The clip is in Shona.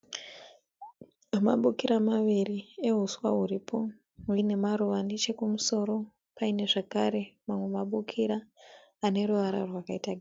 Mabukira maviri ehuswa huripo huine maruva nechekumusoro paine zvakare mamwe mabukira ane ruvara rwakaita